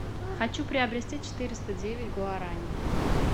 хочу приобрести четыреста девять гуарани